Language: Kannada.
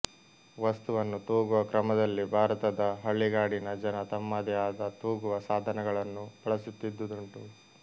ವಸ್ತುವನ್ನು ತೂಗುವ ಕ್ರಮದಲ್ಲಿ ಭಾರತದ ಹಳ್ಳಿಗಾಡಿನ ಜನ ತಮ್ಮದೇ ಆದ ತೂಗುವ ಸಾಧನಗಳನ್ನು ಬಳಸುತ್ತಿದ್ದುದುಂಟು